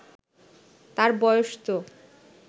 তার বয়স তো